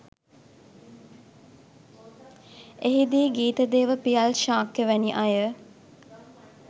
එහිදී ගීතදේව පියල් ශාක්‍ය වැනි අය